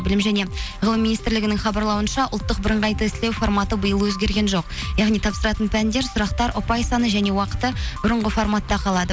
білім және ғылым министрлігінің хабарлауынша ұлттық бірыңғай тестілеу форматы биыл өзгерген жоқ яғни тапсыратын пәндер сұрақтар ұпай саны және уақыты бұрынғы форматта қалады